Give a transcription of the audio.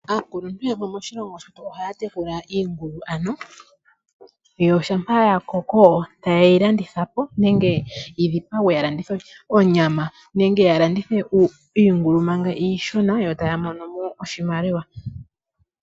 Aakuluntu yamwe ohaya tekula iingulu , yo ngele yakoko tayeyi landithapo yidhipagwe yalandithe oonyama nenge ya landithe iingulu manga iishona, yo taya mono iimaliwa.